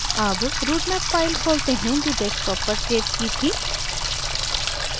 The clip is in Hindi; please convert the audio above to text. अब routemap file खोलते हैं जो desktop पर सेव की थी